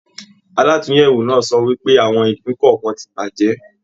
Àlatúnyẹwò náà sọ wípé àwọn ìpín kọọkan tí bàjẹ́.